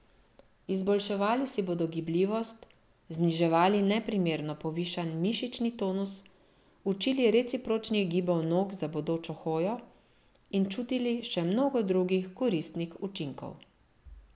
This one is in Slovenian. Izboljševali si bodo gibljivost, zniževali neprimerno povišan mišični tonus, učili recipročnih gibov nog za bodočo hojo in čutili še mnogo drugih koristnih učinkov.